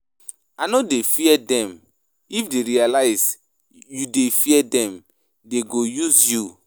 I no dey fear dem, if dey realize you dey fear dem dey go use you.